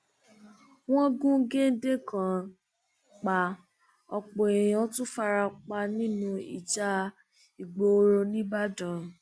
wọn gun géńdé kan pa ọpọ èèyàn tún fara pa nínú ìjà ìgboro nìbàdàn